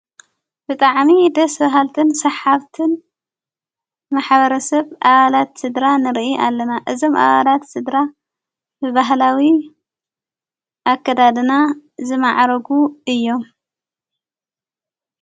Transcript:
ብጥዕሚ ደሥ በሃልትን ሠሓብትን ማኅበረ ሰብ ዓላት ሥድራ ንርኢ ኣለና እዝም አባላት ሥድራ ብበህላዊ ኣከዳድና ዘማዕረጉ እዮም::